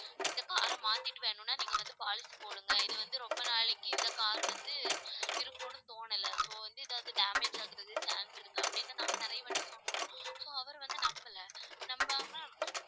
இந்த car அ மாத்திட்டு வேணுன்னா நீங்க வந்து policy போடுங்க இது வந்து ரொம்ப நாளைக்கு இந்த car வந்து இருக்கும்னு தோணல so வந்து ஏதாவது damage ஆகறதுக்கு chance இருக்கு அப்படின்னு நாங்க நிறைய வாட்டி சொன்னோம். so அவர் வந்து நம்பலை நம்பாம